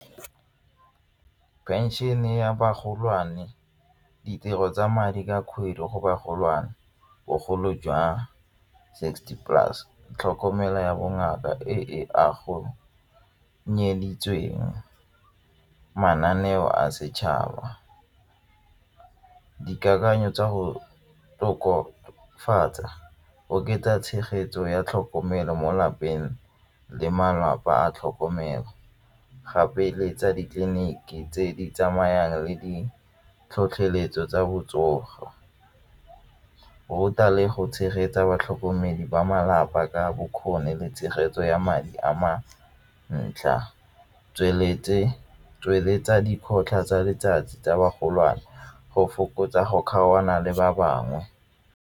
Phenšene ya bagolwane, ditiro tsa madi ka kgwedi go bagolwana, bogolo jwa sixty plus, tlhokomelo ya bongaka e mananeo a setšhaba dikakanyo tsa go tokofatsa oketsa tshegetso ya tlhokomelo mo lapeng le malapa a tlhokomelo gape le tsa ditleliniki tse di tsamayang le di tlhotlheletso tsa botsogo, ruta le go tshegetsa batlhokomedi ba malapa ka bokgoni le tshegetso ya madi a mantle, tsweletsa dikgotlhang tsa letsatsi tsa go fokotsa go kgaogana le ba bangwe.